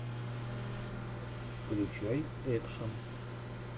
включай экшн